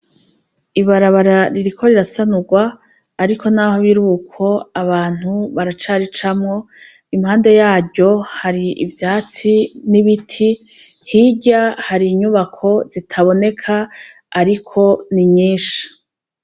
Ibarabara ririko rirasanurwa, ariko naho birukwo abantu baracaricamwo , impande yaryo hari ivyatsi n' ibiti , hirya hari inyubako zitaboneka ,ariko ni nyinshi .